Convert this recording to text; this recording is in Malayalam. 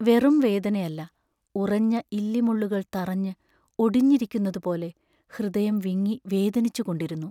വെറും വേദനയല്ല; ഉറഞ്ഞ ഇല്ലിമുള്ളുകൾ തറഞ്ഞ് ഒടിഞ്ഞിരിക്കുന്നതുപോലെ ഹൃദയം വിങ്ങി വേദനിച്ചു കൊണ്ടിരുന്നു.